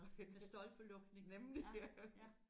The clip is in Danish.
Med stolpelukning ja ja